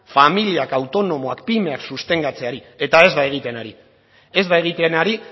familiak autonomoak pymeak sustengatzeari eta ez da egiten ari ez da egiten ari